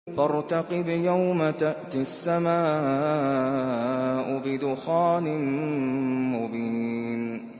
فَارْتَقِبْ يَوْمَ تَأْتِي السَّمَاءُ بِدُخَانٍ مُّبِينٍ